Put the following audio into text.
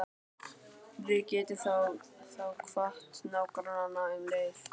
Við gætum þá kvatt nágrannana um leið.